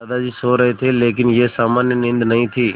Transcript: दादाजी सो रहे थे लेकिन यह सामान्य नींद नहीं थी